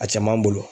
A cɛman bolo